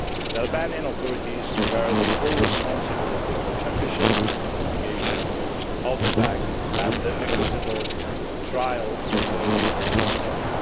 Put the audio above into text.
The Albanian authorities bear the full responsibility for the efficient investigation of the facts and the equitable trial of those responsible.